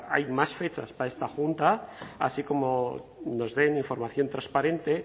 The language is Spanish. hay más fechas para esta junta así como nos den información transparente